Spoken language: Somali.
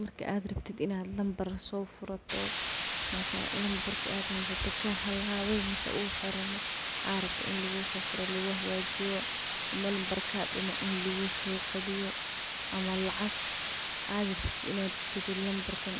Marki ad rabtid in ad nambar sofurato, mase nambarki ad hasate kahalawe, mise uu xirme aa rabto in lugusofuro lugudohagajiyo, nambar kadume soceshani rabtid ama len cusub hada soceshani rabtid intas